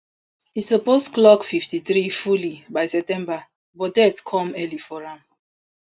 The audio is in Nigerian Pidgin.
e suppose clock fifty-three fully by september but death come early for am